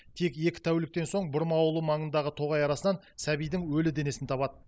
тек екі тәуліктен соң бұрма ауылы маңындағы тоғай арасынан сәбидің өлі денесін табады